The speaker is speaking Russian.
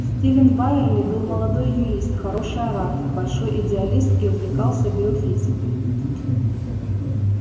стивен байерли был молодой юрист хороший оратор большой идеалист и увлекался биофизикой